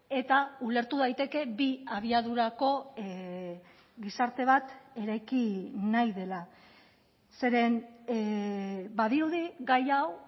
eta ulertu daiteke bi abiadurako gizarte bat eraiki nahi dela zeren badirudi gai hau